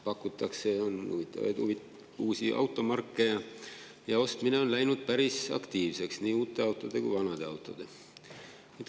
Pakutakse huvitavaid uusi automarke ja ostmine on läinud päris aktiivseks, nii uute autode kui vanade autode ostmine.